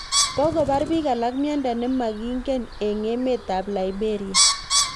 Kokobar biik alak myondo ne mangingen eng' emet ab liberia